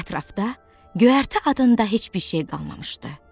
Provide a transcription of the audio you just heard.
Ətrafda göyərti adında heç bir şey qalmamışdı.